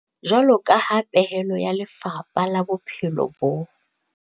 Jwaloka ha pehelo ya Lefapha la Bophelo bo.